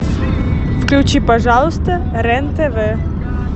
включи пожалуйста рен тв